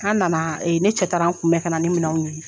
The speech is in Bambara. A nana ne cɛ taara n kunbɛn ka na ni minɛnw ye